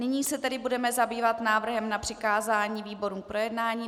Nyní se tedy budeme zabývat návrhem na přikázání výborům k projednání.